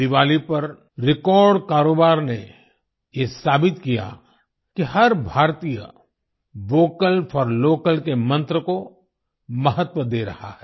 दिवाली पर रेकॉर्ड कारोबार ने ये साबित किया कि हर भारतीय वोकल फोर लोकल के मंत्र को महत्व दे रहा है